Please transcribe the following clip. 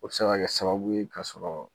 O be se ka kɛ sababu ye ka sɔrɔ